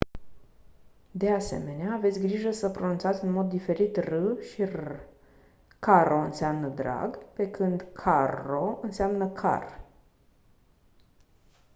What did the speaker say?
de asemenea aveți grijă să pronunțați în mod diferit r și rr caro înseamnă drag pe când carro înseamnă car